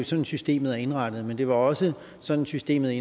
sådan systemet er indrettet men det var også sådan systemet